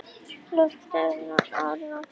Loftleiðum en ráðinn aftur.